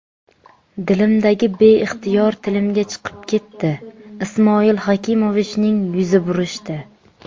Dilimdagi beixtiyor tilimga chiqib ketdi... Ismoil Hakimovichning yuzi burishdi.